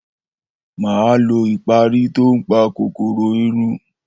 Mà á lo ìparí tó ń pa kòkòrò irun.